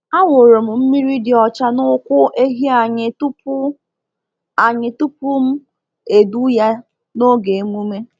A wụrụ m mmiri dị ọcha n’ụkwụ ehi anyị tupu anyị tupu m edu ya n’oge emume.